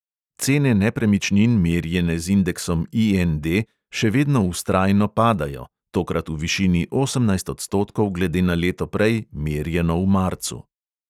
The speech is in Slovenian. Cene nepremičnin, merjene z indeksom IND, še vedno vztrajno padajo, tokrat v višini osemnajst odstotkov glede na leto prej, merjeno v marcu.